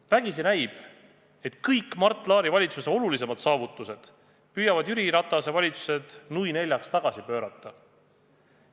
Vägisi näib, et kõik Mart Laari valitsuse olulisemad saavutused püüavad Jüri Ratase valitsused, nui neljaks, tagasi pöörata.